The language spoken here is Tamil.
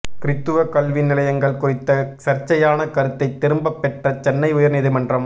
கிறித்துவ கல்வி நிலையங்கள் குறித்த சர்ச்சையான கருத்தை திரும்ப பெற்ற சென்னை உயர் நீதிமன்றம்